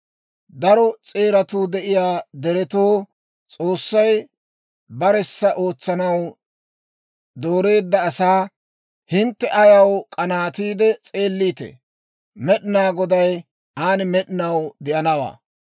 Daro s'eeratuu de'iyaa deretoo, S'oossay baressa ootsanaw dooreedda asaa, hintte ayaw k'anaatiide s'eelliitee? Med'inaa Goday aan med'inaw de'anawaa.